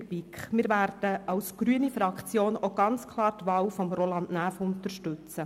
die BiK. Wir werden als grüne Fraktion ganz klar die Wahl von Roland Näf unterstützen.